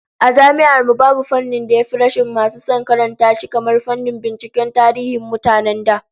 A Jami'ar mu, babu fannin da ya fi rashin masu son karanta shi kamar fannin binciken tarihin mutanen da